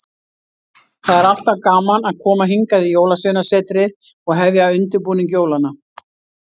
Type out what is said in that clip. Það er alltaf gaman að koma hingað í Jólasveinasetrið og hefja undirbúning jólanna.